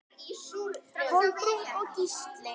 Kolbrún og Gísli.